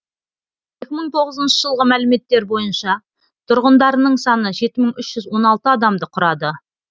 екі мың тоғызыншы жылғы мәліметтер бойынша тұрғындарының саны жеті мың үш жүз он алты адамды құрады